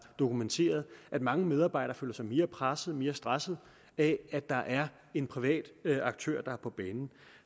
dokumenteret at mange medarbejdere føler sig mere pressede og mere stressede af at der er en privat aktør på banen